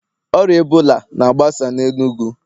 Ọrịa Ebola na-agbasa n'enugu